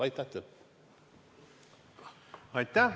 Aitäh!